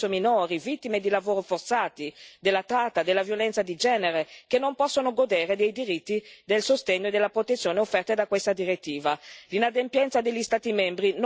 Stiamo parlando di donne, uomini, spesso minori, vittime di lavoro forzato, della tratta, della violenza di genere, che non possono godere dei diritti, del sostegno e della protezione offerta da questa direttiva.